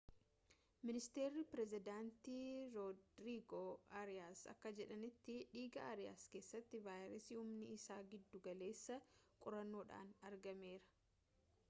ministeeri pireezidantii roodrigoo ariyaas akka jedhanitti dhiiga aariyaas keessatti vaayirasii humni isaa giddu galeessaa qorannoodhaan argameera